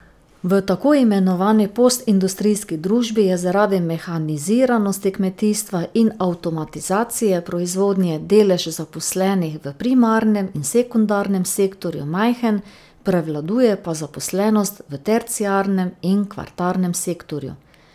V tako imenovani postindustrijski družbi je zaradi mehaniziranosti kmetijstva in avtomatizacije proizvodnje delež zaposlenih v primarnem in sekundarnem sektorju majhen, prevladuje pa zaposlenost v terciarnem in kvartarnem sektorju.